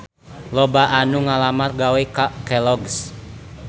Loba anu ngalamar gawe ka Kelloggs